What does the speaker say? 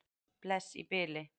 Bless í bili.